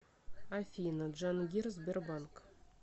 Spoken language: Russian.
афина джангир сбербанк